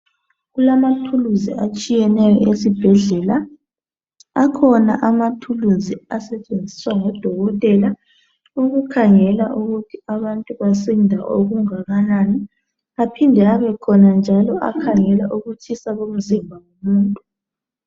Kulamathuluzi atshiyeneyo esibhedlela, Akhona amathuluzi asetshenziswa ngodokotela ukukhangela ukuthi abantu basinda okungakanani aphinde abekhona njalo akhangela ukutshisa komzimba womuntu.